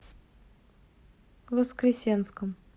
воскресенском